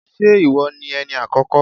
Ṣé ìwọ ni Ẹni àkọ́kọ́?